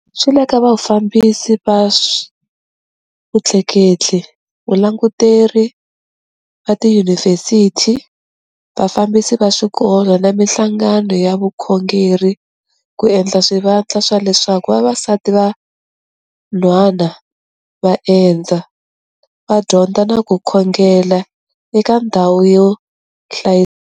Swi le ka vafambisi va swa vutleketli, valanguteri va tiyunivhesiti, vafambisi va swikolo na mihlangano ya vukhongeri ku endla swivandla swa leswaku vavasati van'hwana va endza, va dyondza na ku khongela eka ndhawu yo hlayiseka.